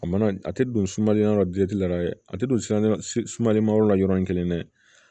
A mana a tɛ don sumali yɔrɔ la la yɛrɛ a tɛ don sumali ma yɔrɔ la yɔrɔ in kelen dɛ